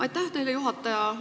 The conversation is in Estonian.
Aitäh teile, juhataja!